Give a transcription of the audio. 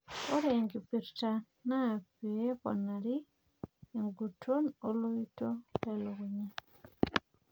ore enkipirta na pee eponari eguton toloito le lukunya.